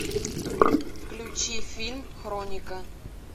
включи фильм хроника